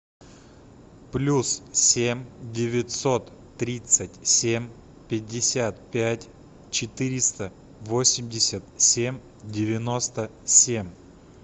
плюс семь девятьсот тридцать семь пятьдесят пять четыреста восемьдесят семь девяносто семь